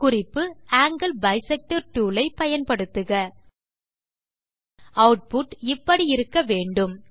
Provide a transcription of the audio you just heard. குறிப்பு ஆங்கில் bisector tool ஐ பயன்படுத்துக ஆட்புட் இப்படி இருக்க வேண்டும்